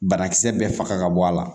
Banakisɛ bɛɛ faga ka bɔ a la